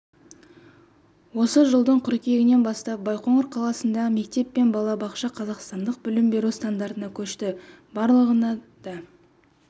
осы жылдың қыркүйегінен бастап байқоңыр қаласындағы мектеп пен балабақша қазақстандық білім беру стандартына көшті барлығына да